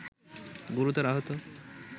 গুরুতর আহত